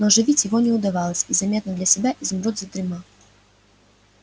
но оживить его не удавалось и заметно для себя изумруд задремал